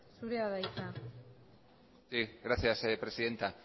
zurea da hitza sí gracias presidenta